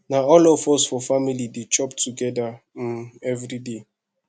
na all of us for family dey chop togeda um everyday